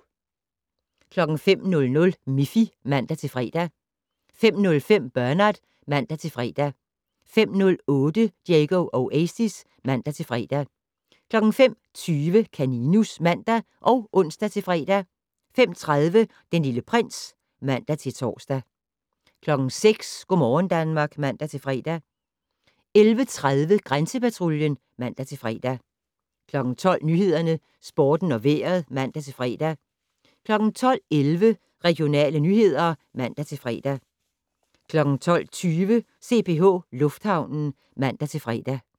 05:00: Miffy (man-fre) 05:05: Bernard (man-fre) 05:08: Diego Oasis (man-fre) 05:20: Kaninus (man og ons-fre) 05:30: Den Lille Prins (man-tor) 06:00: Go' morgen Danmark (man-fre) 11:30: Grænsepatruljen (man-fre) 12:00: Nyhederne, Sporten og Vejret (man-fre) 12:11: Regionale nyheder (man-fre) 12:20: CPH Lufthavnen (man-fre)